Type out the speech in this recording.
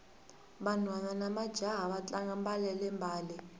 vanhwana namajaha va tlanga mbalele mbale